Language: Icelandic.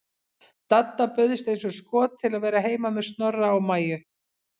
Dadda bauðst eins og skot til að vera heima með Snorra og Maju.